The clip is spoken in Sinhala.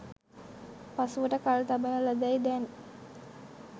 පසුවට කල් තබන ලදැ යි දැන්